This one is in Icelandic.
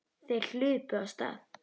Þeir hlupu af stað.